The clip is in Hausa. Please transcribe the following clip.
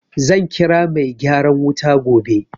Zan kira mai gyaran wuta gobe.